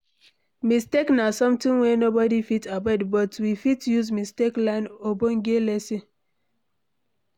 Mistakes na something wey nobody fit avoid but we fit use mistake learn ogbonge lesson